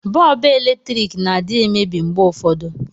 Bọọbụ eletriki na adị emebi mgbe ụfọdụ